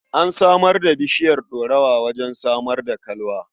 An shaida bishiyar ɗorawa wajen samar da kalwa.